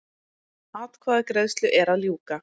Atkvæðagreiðslu er að ljúka